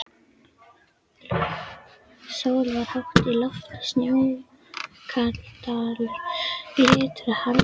Sól var hátt á lofti og Snóksdalur glitraði harðfrosinn.